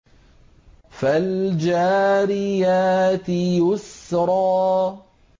فَالْجَارِيَاتِ يُسْرًا